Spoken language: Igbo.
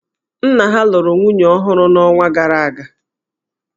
Nna ha lụrụ nwunye ọhụrụ n'ọnwa gara aga.